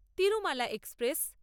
Tirumala express